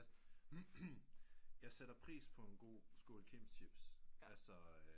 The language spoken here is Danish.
Jeg sætter pris på en god skål kims chips